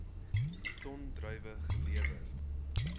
ton druiwe gelewer